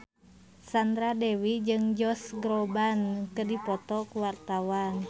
Sandra Dewi jeung Josh Groban keur dipoto ku wartawan